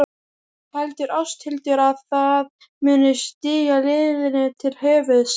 Heldur Ásthildur að það muni stíga liðinu til höfuðs?